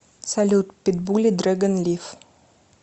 салют питбули дрэгон лив